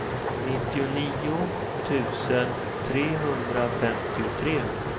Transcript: nittionio tusen trehundrafemtiotre